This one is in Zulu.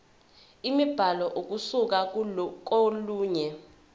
imibhalo ukusuka kolunye